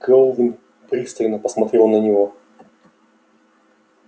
кэлвин пристально посмотрела на него